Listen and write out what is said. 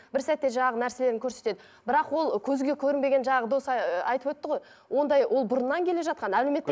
бір сәтте жаңағы нәрселерін көрсетеді бірақ ол көзге көрінбеген жаңағы дос ыыы айтып өтті ғой ондай ол бұрыннан келе жатқан әлеуметтік